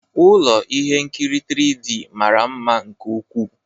Ụlọ ihe nkiri 3D mara mma nke ukwuu.